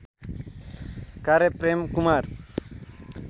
कार्य प्रेमकुमार